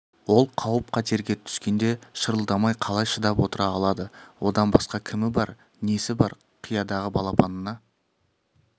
ол қауіп-қатерге түскенде шырылдамай қалай шыдап отыра алады одан басқа кімі бар несі бар қиядағы балапанына